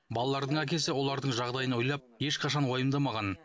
балалардың әкесі олардың жағдайын ойлап ешқашан уайымдамаған